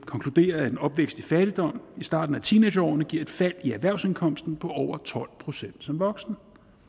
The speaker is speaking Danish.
konkluderer at en opvækst i fattigdom i starten af teenageårene giver et fald i erhvervsindkomst på over tolv procent som voksen